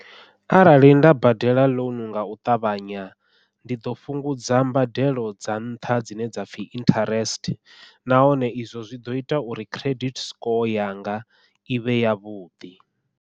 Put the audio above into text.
Arali nda badela ḽounu ngau ṱavhanya, ndi ḓo fhungudza mbadelo dza nṱha dzine dza pfhi interest nahone izwo zwi ḓo ita uri credit score yanga i vhe yavhuḓi.